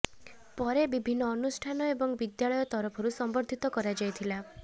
ପରେ ବିଭିନ୍ନ ଅନୁଷ୍ଠାନ ଏବଂ ବିଦ୍ୟାଳୟ ତରଫରୁ ସମ୍ବର୍ଦ୍ଧୀତ କରାଯାଇଥିଲା